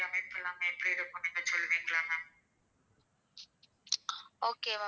Okay ma'am,